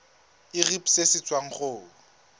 irp se se tswang go